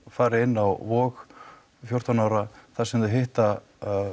fari inn á Vog fjórtán ára þar sem þau hitta